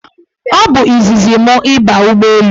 Ọ bụ izizi mụ ịba ụgbọelu.